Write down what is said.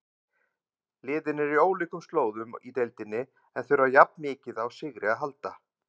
Liðin eru á ólíkum slóðum í deildinni en þurfa jafn mikið á sigri að halda.